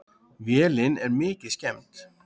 Vélin er mikið skemmd.